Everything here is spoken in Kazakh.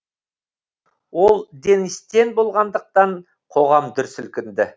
ол денис тен болғандықтан қоғам дүр сілкінді